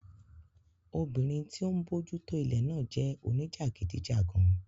Obìnrin tí ó ń bójútó ilẹ̀ náà jẹ́ oníjàgídíjàgan